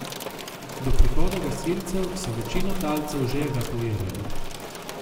Do prihoda gasilcev so večino talcev že evakuirali.